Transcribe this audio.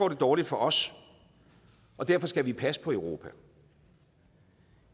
det dårligt for os og derfor skal vi passe på europa